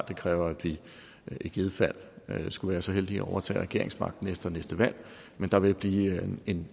det kræver at vi i givet fald skulle være så heldige at overtage regeringsmagten efter næste valg men der vil blive en